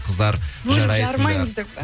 қыздар жарайсыңдар бөліп жармаймыз деп